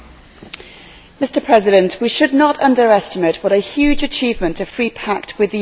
Mr President, we should not underestimate what a huge achievement a free pact with the US would be.